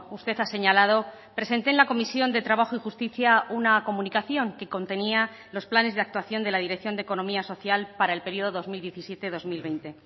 usted ha señalado presenté en la comisión de trabajo y justicia una comunicación que contenía los planes de actuación de la dirección de economía social para el periodo dos mil diecisiete dos mil veinte